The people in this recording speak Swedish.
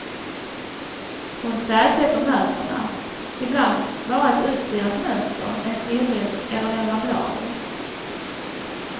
Hon färgsätter möblerna, ibland bara ett utsirat mönster, en solros eller några blad.